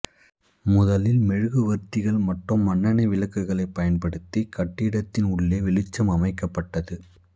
முதலில் மெழுகுவர்த்திகள் மற்றும் மண்ணெண்ணெய் விளக்குகளைப் பயன்படுத்தி கட்டிடத்தின் உள்ளே வெளிச்சம் அமைக்கப்பட்டது